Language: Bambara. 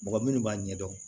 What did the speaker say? Mɔgɔ minnu b'a ɲɛdɔn